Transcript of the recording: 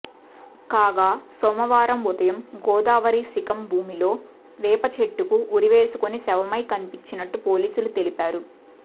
కాగా సోమవారం ఉదయం గోదావరి శిఖం భూమిలో వేపచెట్టుకు ఉరివేసుకొని శవమై కనిపించినట్టు పోలీసులు తెలిపారు